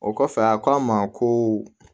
O kɔfɛ a k'a ma ko